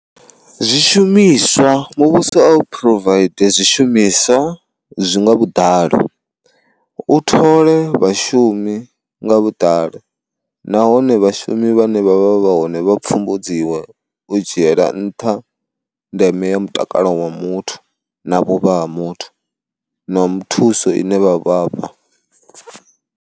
Zwishumiswa muvhuso a u provide zwishumiswa zwi nga vhuḓalo, u thole vhashumi nga vhuḓalo, nahone vhashumi vhane vhavha vha hone vha pfumbudziwe u dzhiela nṱha ndeme ya mutakalo wa muthu na vhuvha ha muthu na thuso ine vha vhafha.